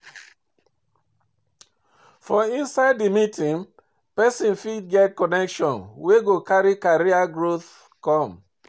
For inside di meeting persin fit get connection wey go carry career growth come